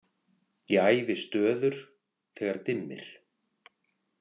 Ég æfi stöður, þegar dimmir.